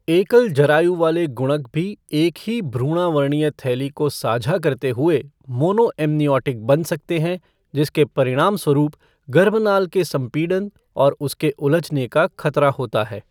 एकल जरायु वाले गुणक भी एक ही भ्रूणावरणीय थैली को साझा करते हुए, मोनोएम्नियोटिक बन सकते हैं, जिसके परिणामस्वरूप गर्भनाल के संपीड़न और उसके उलझने का खतरा होता है।